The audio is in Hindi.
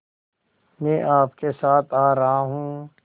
मैं आपके साथ आ रहा हूँ